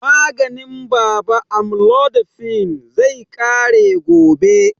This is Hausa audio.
Maganin baba amlodipine, zai ƙare gobe.